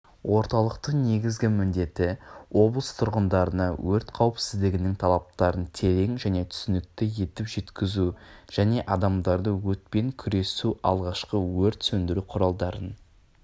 орталықтың негізгі міндеті облыс тұрғындарына өрт қауіпсіздігінің талаптарын терең және түсінікті етіп жеткізу және адамдарды өртпен күресу алғашқы өрт өндіру құралдарын